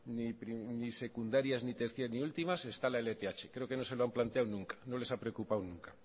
ni secundarias ni terciarias ni últimas está la lth creo que no se lo han planteado nunca no les ha preocupado nunca